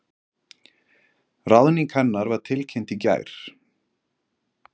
Ráðning hennar var tilkynnt í gær